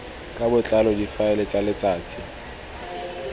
ka botlalo difaele tsa letsatsi